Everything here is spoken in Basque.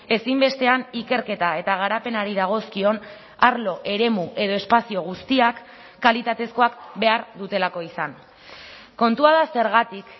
ezinbestean ikerketa eta garapenari dagozkion arlo eremu edo espazio guztiak kalitatezkoak behar dutelako izan kontua da zergatik